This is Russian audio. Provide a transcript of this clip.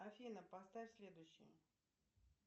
афина поставь следующий